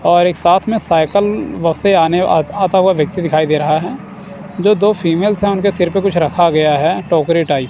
और एक साथ में साइकल व से आने आता हुआ व्यक्ति दिखाई दे रहा है जो दो फीमेल्स है उनके सिर पे कुछ रखा गया है टोकरी टाइप --